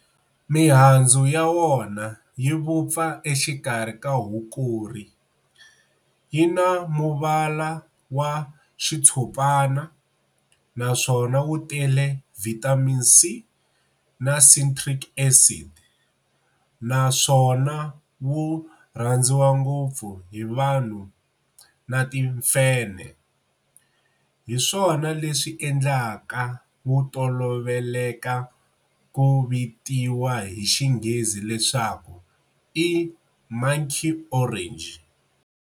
Mihandzu ya wona yi vupfa exikarhi ka Hukuri, yi na muvala wa xitshopana naswona wu tele vitamin C na Citric Acid, naswona wu rhandziwa ngopfu hi vanhu na timfenhe, hi swona leswi endlaka wu toloveleka ku vitiwa hi xinghezi leswaku i"Monkey Orange".